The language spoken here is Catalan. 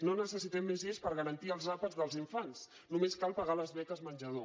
no necessitem més lleis per garantir els àpats dels infants només cal pagar les beques menjador